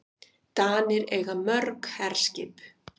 Danir eiga mörg herskip.